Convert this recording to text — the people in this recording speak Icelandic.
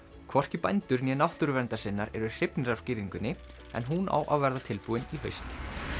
hvorki bændur né náttúruverndarsinnar eru hrifnir af girðingunni en hún á að verða tilbúin í haust